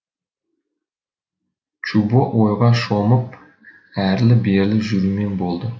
чубо ойға шомып әрлі берлі жүрумен болды